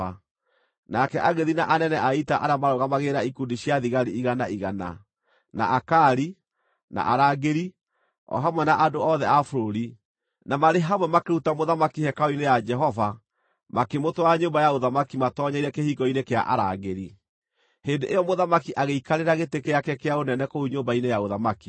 Nake agĩthiĩ na anene a ita arĩa maarũgamagĩrĩra ikundi cia thigari igana igana, na Akari, na arangĩri, o hamwe na andũ othe a bũrũri, na marĩ hamwe makĩruta mũthamaki hekarũ-inĩ ya Jehova makĩmũtwara nyũmba ya ũthamaki matoonyeire kĩhingo-inĩ kĩa arangĩri. Hĩndĩ ĩyo mũthamaki agĩikarĩra gĩtĩ gĩake kĩa ũnene kũu nyũmba-inĩ ya ũthamaki.